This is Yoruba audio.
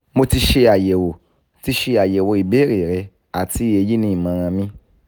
mo ti ṣe ayẹwo ti ṣe ayẹwo ibeere rẹ ati eyi ni imọran mi